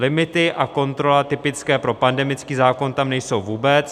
Limity a kontrola typické pro pandemický zákon tam nejsou vůbec.